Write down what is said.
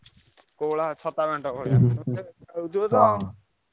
କୋଉଭଳିଆ ଛାତ ବେଣ୍ଟ ଭଳିଆ?